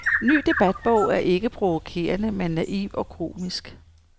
Ny debatbog er ikke provokerende, men naiv og komisk.